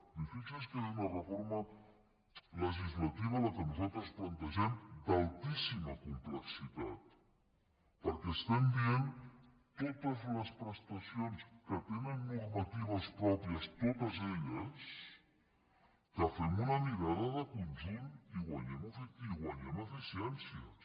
i fixi’s que és una reforma legislativa la que nosaltres plantegem d’altíssima complexitat perquè estem dient totes les prestacions que tenen normatives pròpies totes elles que fem una mirada de conjunt i guanyem eficiències